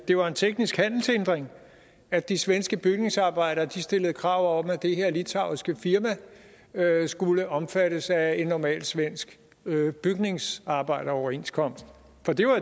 det var en teknisk handelshindring at de svenske bygningsarbejdere stillede krav om at det her litauiske firma skulle omfattes af en normal svensk bygningsarbejderoverenskomst